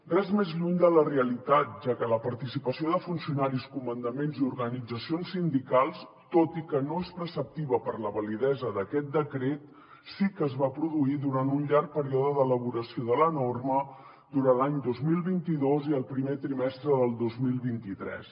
res més lluny de la realitat ja que la participació de funcionaris comandaments i organitzacions sindicals tot i que no és preceptiva per a la validesa d’aquest decret sí que es va produir durant un llarg període d’elaboració de la norma durant l’any dos mil vint dos i el primer trimestre del dos mil vint tres